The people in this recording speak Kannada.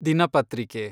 ದಿನಪತ್ರಿಕೆ